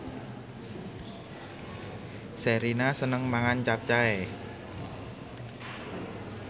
Sherina seneng mangan capcay